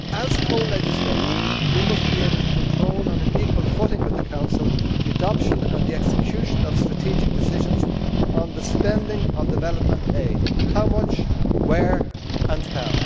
As co legislator, we must be able to control, on an equal footing with the Council, the adoption and the execution of strategic decisions on the spending of development aid how much, where and how.